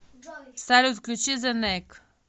салют включи зе нек